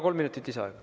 Kolm minutit lisaaega.